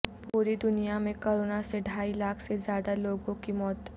پوری دنیا میں کورونا سے ڈھائی لاکھ سے زیادہ لوگوں کی موت